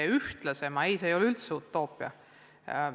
Muuseumide kaasamine ei ole üldse utoopia.